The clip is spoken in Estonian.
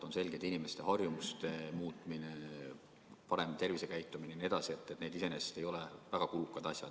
On selge, et inimeste harjumuste muutmine, parem tervisekäitumine jne ei ole iseenesest väga kulukad asjad.